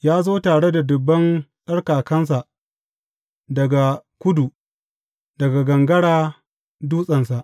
Ya zo tare da dubban tsarkakansa daga kudu, daga gangara dutsensa.